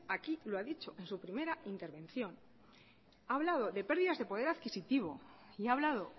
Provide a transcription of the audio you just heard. aquí lo ha dicho en su primera intervención ha hablado de pérdidas de poder adquisitivo y ha hablado